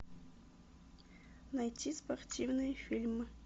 найти спортивные фильмы